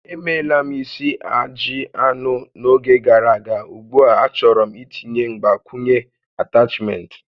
Emeela m isi ajị anụ n'oge gàrà aga, ugbu a achọrọ m itinye mgbakwunye atachment